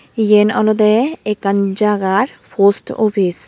yen olode ekkan jagar post office.